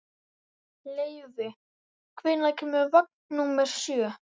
Leivi, hvenær kemur vagn númer sjö?